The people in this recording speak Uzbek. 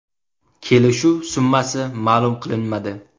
Kelishuv summasi ma’lum qilinmadi.